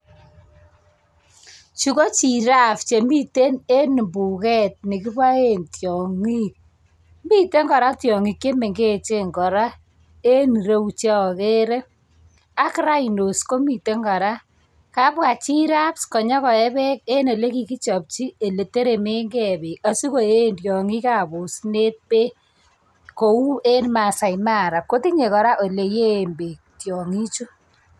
Chu ko giraffe che miten eng mbugek ole kiboe tiongik miten kora tiongik che mengechen kora eng ireu che agere ak rhinos komiten kora, kabwa giraffe nyo koe beek eng ole kikechopchi ole telelengei beek asi koei tiongikab osinet beek kou eng maasai mara kotinye kora ole yeen beek tiongichu.